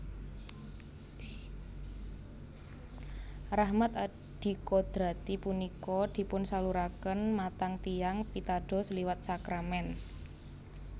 Rahmat adikodrati punika dipunsaluraken matang tiyang pitados liwat sakramèn